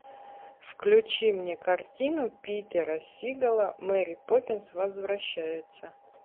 включи мне картину питера сигала мэри поппинс возвращается